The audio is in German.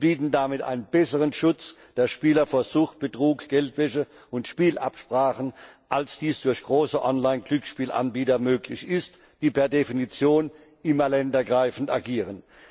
Dies bietet besseren Schutz der Spieler vor Sucht, Betrug, Geldwäsche und Spielabsprachen, als es durch große Online Glücksspielanbieter möglich ist, die per definitionem immer länderübergreifend agieren.